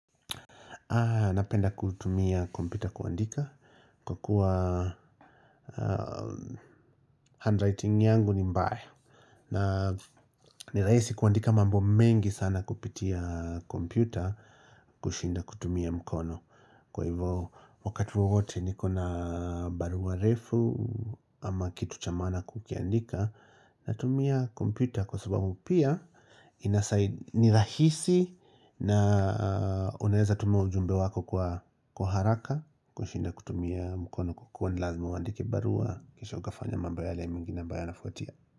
Napenda kutumia kompyuta kuandika kwa kuwa handwriting yangu ni mbaya na ni rahisi kuandika mambo mengi sana kupitia kompyuta kushinda kutumia mkono Kwa hivyo wakati wowote nikona barua refu ama kitu cha maana kukiandika natumia kompyuta kwa sababu pia ni rahisi na unaeza tuma ujumbe wako kwa haraka kushinda kutumia mkono kukua ni lazimu uandike barua kisha ukafanya mambonyale mingi na ambayo yanafuatia.